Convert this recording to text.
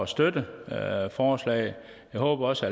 støtte forslaget jeg håber også